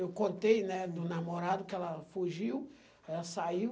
Eu contei, né, do namorado que ela fugiu, ela saiu.